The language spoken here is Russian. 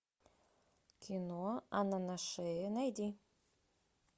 кино анна на шее найди